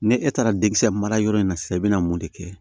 Ne e taara denkisɛ mara yɔrɔ in na sisan i be na mun de kɛ